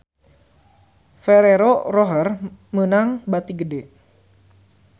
Ferrero Rocher meunang bati gede